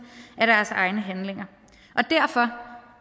af deres egne handlinger og derfor